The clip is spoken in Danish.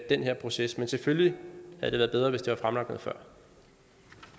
den her proces men selvfølgelig havde det været bedre hvis det